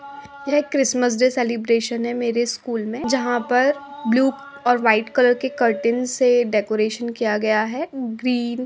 यह Christmas day celebration है मेरे स्कूल में जहाँ पर ब्लू और वाइट कलर के कर्टेन से डेकोरेशन किया गया है ग्रीन --